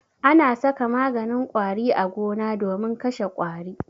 Ana saka maganin ƙwari a gona domin kashe ƙwari.